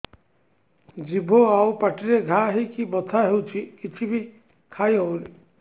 ଜିଭ ଆଉ ପାଟିରେ ଘା ହେଇକି ବଥା ହେଉଛି କିଛି ବି ଖାଇହଉନି